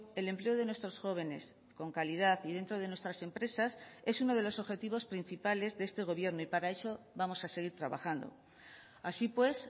el empleo de nuestros jóvenes con calidad y dentro de nuestras empresas es uno de los objetivos principales de este gobierno y para eso vamos a seguir trabajando así pues